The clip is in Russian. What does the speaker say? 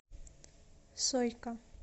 сойка